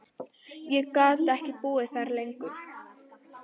Ég gat ekki búið þar lengur.